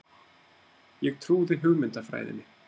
Ég trúði hugmyndafræðinni.